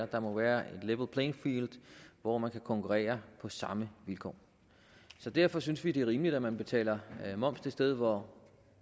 der må være et level playing field hvor man kan konkurrere på samme vilkår så derfor synes vi det er rimeligt at man betaler moms det sted hvor